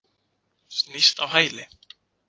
Snýst á hæli.